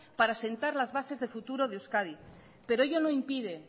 para sentar las bases de futuro de euskadi pero ello no impide